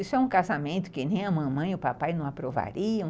Isso é um casamento que nem a mamãe e o papai não aprovariam.